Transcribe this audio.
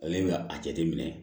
Ale bɛ a jateminɛ